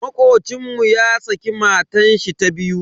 Makocin mu ya saki matashi ta biyu.